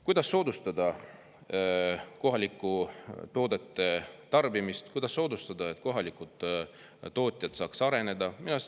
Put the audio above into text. Kuidas soodustada kohalike toodete tarbimist, kuidas soodustada, et kohalikud tootjad saaks areneda?